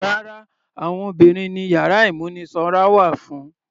Rárá, àwọn obìnrin ni yàrá ìmúnisanra wà fún.